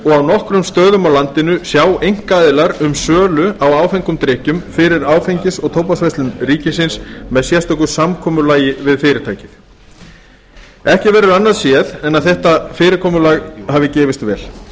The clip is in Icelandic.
og á nokkrum stöðum á landinu sjá einkaaðilar um sölu á áfengum drykkjum fyrir áfengis og tóbaksverslun ríkisins með sérstöku samkomulagi við fyrirtækið ekki verður annað séð en að þetta fyrirkomulag hafi gefist vel